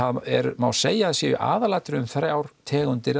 má segja að það séu í aðalatriðum þrjár tegundir